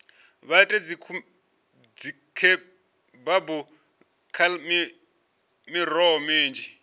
vha ite dzikhebabu nga miroho minzhi